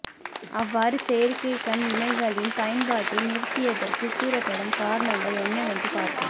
அவ்வாறு செயற்கை கண் இமைகளின் பயன்பாட்டை நிறுத்தியதற்கு கூறப்படும் காரணங்கள் என்னவென்று பார்ப்போம்